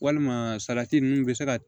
Walima salati ninnu bɛ se ka